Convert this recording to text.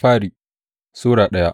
daya Bitrus Sura daya